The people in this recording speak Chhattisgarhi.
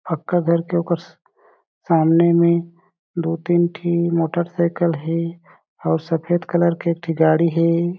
हक्का घर के उकर सामने में दो तीन ठिन मोटर साइकिल हें और सफ़ेद कलर के एक ठी गाड़ी हें।